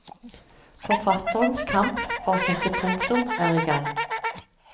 Forfatterenes kamp for å sette punktum er i gang.